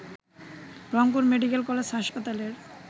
Rangpur medical college হাসপাতালের